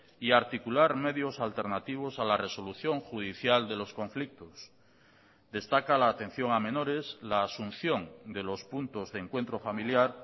y a articular medios alternativos a la resolución judicial de los conflictos destaca la atención a menores la asunción de los puntos de encuentro familiar